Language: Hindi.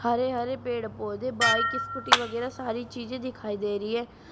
हरे हरे पेड़ पौधे बाइक स्कूटी वगैरह सारी चीजे दिखाई दे रही हैं।